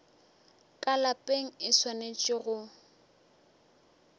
ka lapeng e swanetše go